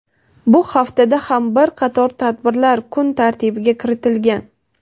Bu haftada ham bir qator tadbirlar kun tartibiga kiritilgan.